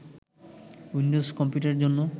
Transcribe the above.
Windows কম্পিউটারের জন্য